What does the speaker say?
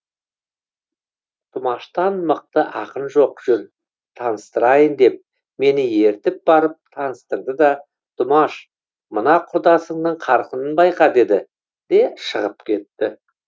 тұмаштан мықты ақын жоқ жүр таныстырайын деп мені ертіп барып таныстырды да тұмаш мына құрдасыңның қарқынын байқа деді де шығып кетті